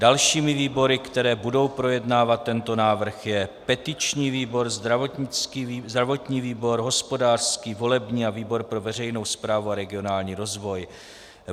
Dalšími výbory, které budou projednávat tento návrh, jsou petiční výbor, zdravotní výbor, hospodářský, volební a výbor pro veřejnou správu a regionální rozvoj.